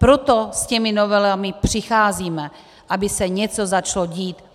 Proto s těmi novelami přicházíme, aby se něco začalo dít.